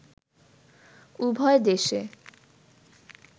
উভয় দেশে